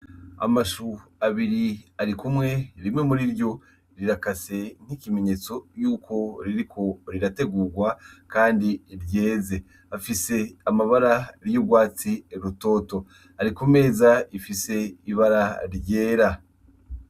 Amashu abiri arikumwe rimwe muriryo rirakase n' ikimenyetso yuko ririko rirategugwa kandi yeze, afise amabara y' ugwatsi rutoto ari kumeza rifise ibara ryera.